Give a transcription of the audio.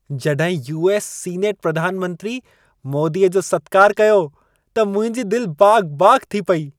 जॾहिं US. Senate प्रधान मंत्री मोदीअ जो सत्कार कयो, त मुंहिंजी दिल बाग़-बाग़ थी पेई।